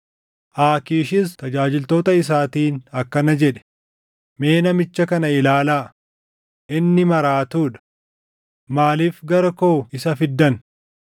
Aakiishis tajaajiltoota isaatiin akkana jedhe; “Mee namicha kana ilaalaa! Inni maraatuu dha! Maaliif gara koo isa fiddan?